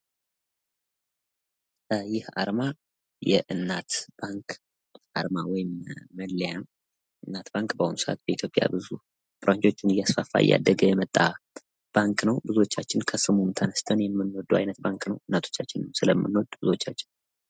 ይህ አርማ የእናት ባንክ አርማ ወይም መለያ ነው ፤ እናት ባንክ በአሁኑ ሰአት በኢትዮጵያ ብራንቾቹን እያሰፋ የመጣ ባንክ ነው።